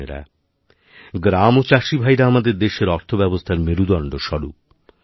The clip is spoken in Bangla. বোনেরাগ্রাম ও চাষিভাইরা আমাদের দেশের অর্থব্যবস্থার মেরুদণ্ড স্বরূপ